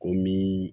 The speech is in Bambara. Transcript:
O min